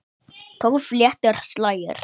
Tólf léttir slagir.